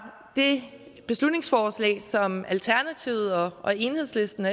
det beslutningsforslag som alternativet og enhedslisten og